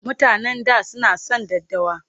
Mutanen da suna son daddawa.